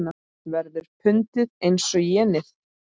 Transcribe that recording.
Verður pundið eins og jenið?